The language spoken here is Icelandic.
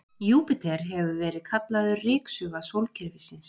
Júpíter hefur verið kallaður ryksuga sólkerfisins.